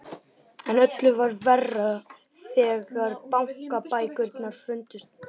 En öllu verra var þegar bankabækurnar fundust ekki.